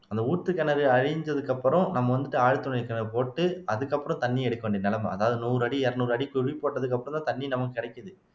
அந்த ஊத்து கிணறு அழிஞ்சதுக்கு அப்புறம் நம்ம வந்துட்டு ஆழ்துளை கிணறு போட்டு அதுக்கப்புறம் தண்ணி எடுக்க வேண்டிய நிலைமை அதாவது நூறு அடி இருநூறு அடிக்கு குழி போட்டதுக்கு அப்புறம்தான் தண்ணி நமக்கு கிடைக்குது